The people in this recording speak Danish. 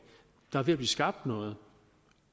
der er ved at blive skabt noget